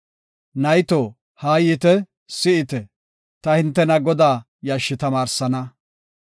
Nayto, haa yiite; si7ite; ta hintena Godaa yashshi tamaarsana.